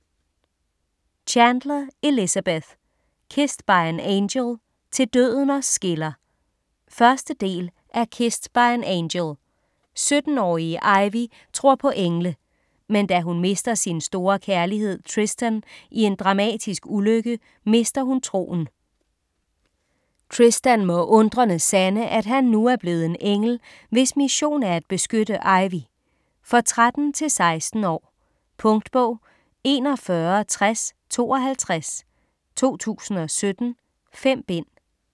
Chandler, Elizabeth: Kissed by an angel - til døden os skiller 1. del af Kissed by an angel. 17-årige Ivy tror på engle. Men da hun mister sin store kærlighed, Tristan i en dramatisk ulykke, mister hun troen. Tristan må undrende sande, at han nu er blevet en engel, hvis mission er at beskytte Ivy. For 13-16 år. Punktbog 416052 2017. 5 bind.